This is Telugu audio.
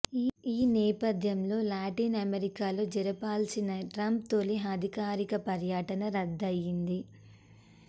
ఈ నేపథ్యంలో లాటిన్ అమెరికాలో జరపాల్సిన ట్రంప్ తొలి అధికారిక పర్యటన రద్దయ్యింది